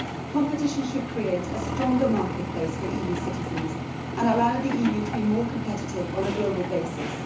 Competition should create a stronger marketplace for EU citizens and allow the EU to be more competitive on a global basis.